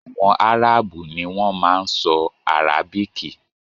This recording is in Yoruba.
Àwọn Áràbù ni wọn ma ń sọ Arabiki